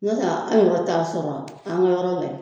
N'o ta an yɛrɛw t'a sɔrɔ an ka yɔrɔ